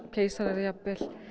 keisarar jafnvel